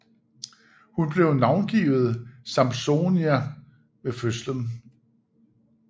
Hun blev navngivet Sampsonia ved fødslen